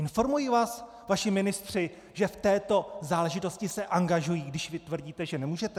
Informují vás vaši ministři, že v této záležitosti se angažují, když vy tvrdíte, že nemůžete?